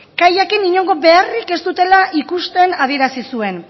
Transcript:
kaiakin inongo beharrik ez dutela ikusten adierazi zuen